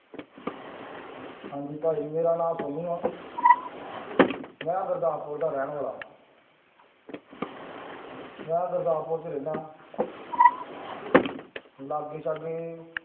ਹਾਂਜੀ ਭਾਈ ਮੇਰਾ ਨਾਂ ਸੋਨੂੰ ਆਂ ਮੈਂ ਗੁਰਦਾਸਪੁਰ ਦਾ ਰਹਿਣ ਵਾਲਾ ਮੈਂ ਗੁਰਦਾਸਪੁਰ 'ਚ ਰਹਿਨਾ ਲਾਗੇ ਸਾਗੇ